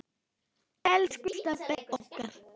Elsku Stebbi okkar.